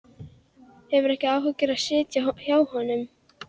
Hefur ekki áhuga á að sitja hjá honum.